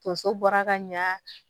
Tonso bɔra ka ɲa